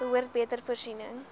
behoort beter voorsiening